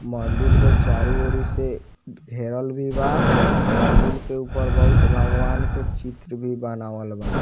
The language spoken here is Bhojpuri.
मंदिल के चारो ओरि से घेरल भी बा मंदिल के ऊपर बहुत भगवान के चित्र भी बनावल बा।